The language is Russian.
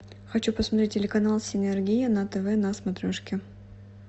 хочу посмотреть телеканал синергия на тв на смотрешке